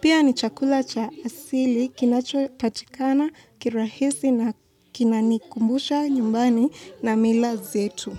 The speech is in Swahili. Pia ni chakula cha asili kinacho patikana kirahisi na kinanikumbusha nyumbani na mila zetu.